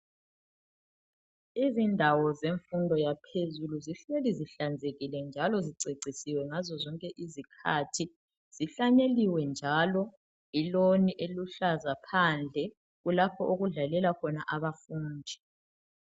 Izindawo zemfundo yaphezulu zihleli zihlanzekile njalo zicecisiwe ngazo zonke izikhathi, zihlanyeliwe njalo ilawn eluhlaza phandle kulapho okudlalela khona abafundi.